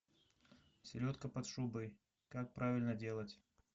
селедка под шубой как правильно делать